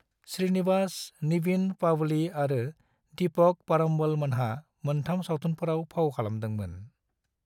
श्रीनिवासन, निविन पावली आरो दीपक परम्बोल मोनहा मोन्थाम सावथुनफोराव फाव खालामदोंमोन।